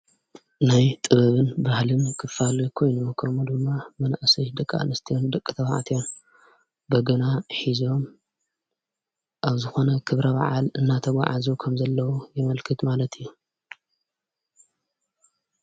ናይ ጥበብን ባህልን ክፋል የኮይኑሞኸሙ ድማ ምነእሰሽ ደቃ ንስትን ደቂ ተብዕትዮን በገና ኂዞም ኣብዝኾነ ክብረ ባዓል እናተጐዓዙ ከም ዘለዉ የመልክድ ማለት እዩ።